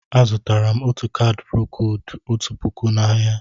Azụtara m ọtu caadi procóóld ọtu pụkụ na áhiá.